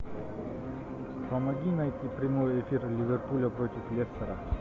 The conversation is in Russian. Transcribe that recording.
помоги найти прямой эфир ливерпуля против лестера